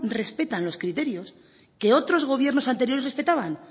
respetan los criterios que otros gobiernos anteriores respetaban